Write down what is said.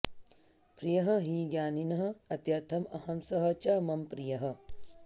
प्रियः हि ज्ञानिनः अत्यर्थम् अहम् सः च मम प्रियः